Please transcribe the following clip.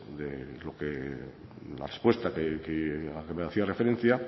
de la respuesta a la que me hacía referencia